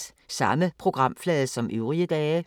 Samme programflade som øvrige dage